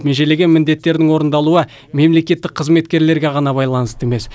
межелеген міндеттердің орындалуы мемлекеттік қызметкерлерге ғана байланысты емес